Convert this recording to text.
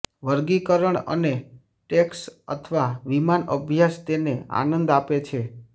વર્ગીકરણ અને ટેન્ક્સ અથવા વિમાન અભ્યાસ તેને આનંદ આપે છે